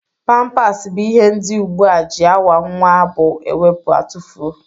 Pampas bụ ihe ndị ugbu a ji awa nwa bụ ewepu atufoo